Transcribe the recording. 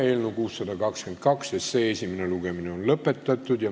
Eelnõu 622 esimene lugemine on lõpetatud.